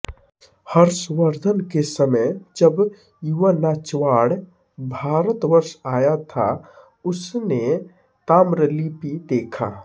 हर्षवर्धन के समय जब युवान्च्वाड् भारतवर्ष आया था उसने ताम्रलिप्ति देखा